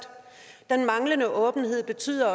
den manglende åbenhed betyder at